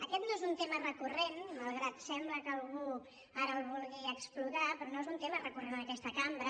aquest no és un tema recurrent malgrat que sembla que algú ara el vulgui explotar però no és un tema recurrent en aquesta cambra